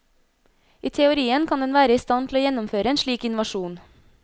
I teorien kan den være i stand til å gjennomføre en slik invasjon.